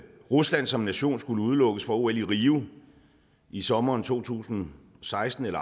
rusland som nation skulle udelukkes fra ol i rio i sommeren to tusind og seksten vil